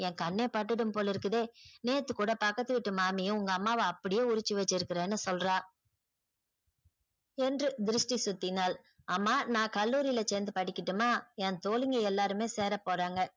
என் கண்ணே பட்டுட்டும் போலே இருக்குதே நேத்து கூட பக்கத்து வீடு மாம்மி உங்க அம்மாவ அப்டியே உரிச்சி வச்சிருக்கன்னு சொல்றா என்று திருஷ்டி சுத்தினால் ஆமா நான் கல்லூரில சேந்து படிக்கட்டும்மா என் தோழிகள் எல்லாரும் சேர போறாங்க